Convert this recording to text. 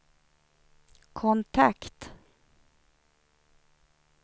kontakt